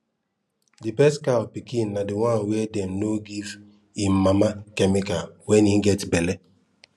the best cow pikin na the one wey dem no give em mama chemical when en get belle